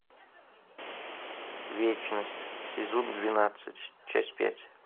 вечность сезон двенадцать часть пять